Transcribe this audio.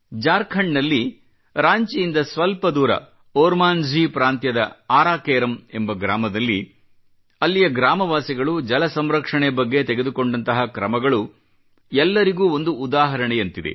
ಜಾರ್ಖಂಡ್ ನಲ್ಲಿ ರಾಂಚಿಯಿಂದ ಸ್ವಲ್ಪ ದೂರ ಓರ್ಮಾಂಝಿ ಪ್ರಾಂತ್ಯದ ಆರಾ ಕೇರಂ ಎಂಬ ಗ್ರಾಮದಲ್ಲಿ ಅಲ್ಲಿಯ ಗ್ರಾಮವಾಸಿಗಳು ಜಲಸಂರಕ್ಷಣೆ ಬಗ್ಗೆ ತೆಗೆದುಕೊಂಡಂತಹ ಕ್ರಮಗಳು ಎಲ್ಲರಿಗೂ ಒಂದು ಉದಾಹರಣೆಯಂತಿದೆ